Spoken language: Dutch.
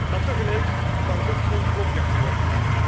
Maar tegelijk mag het ook geen klopjacht worden.